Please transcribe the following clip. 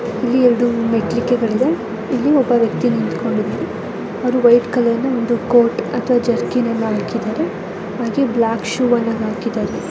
ಇಲ್ಲಿ ಎರೆಡು ಮೆಟ್ಟಲಿಕೆಗಳು ಇದೆ. ಇಲ್ಲಿ ಒಬ್ಬ ವ್ಯಕ್ತಿ ನಿಂತುಕೊಂಡು ಇದಾರೆ ಅವರು ವೈಟ್ ಕಲರ್ನ ಒಂದು ಕೋಟ್ ಅಂದರೆ ಜೆರಕಿನ ಅನ್ನ ಹಾಕಿದ್ದಾರೆ ಹಾಗೆ ಬ್ಲಾಕ್ ಷೂ ಅನ್ನ ಹಾಕಿದ್ದಾರೆ.